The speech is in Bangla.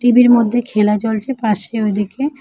ছবির মধ্যে খেলা চলছে পাশে ওইদিকে।